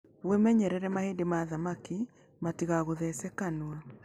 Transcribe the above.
Wĩmenyerere mahĩndĩ ma thamaki matĩgagũthece kanua.